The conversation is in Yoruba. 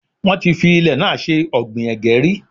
Wọ́n ti fi ilẹ̀ náà ṣe ọ̀gbìn ẹ̀gẹ́ rí.